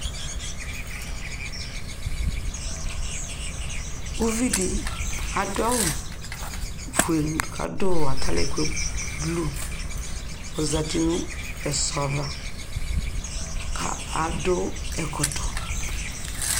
ʋvidi adʋ awʋ ƒʋɛ kʋ adʋ atalɛgbɛ blʋe kʋ ɔzati nʋ ɛzɔ aɣa kʋ adʋ adʋ ɛkɔtɔ